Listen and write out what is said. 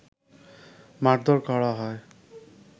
মারধর করা হয়